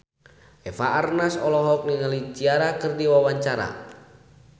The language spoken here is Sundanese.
Eva Arnaz olohok ningali Ciara keur diwawancara